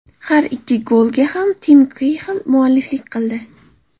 Har ikki golga ham Tim Keyxill mualliflik qildi.